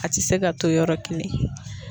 A ti se ka to yɔrɔ kelen